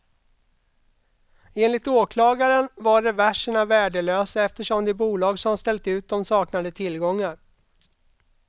Enligt åklagaren var reverserna värdelösa eftersom det bolag som ställt ut dem saknade tillgångar.